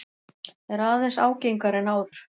Er aðeins ágengari en áður.